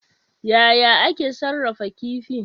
Yaya ake sarrafa kifi?